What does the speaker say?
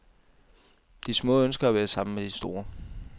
De små ønsker at være sammen med de store.